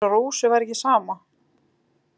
Eins og Rósu væri ekki sama.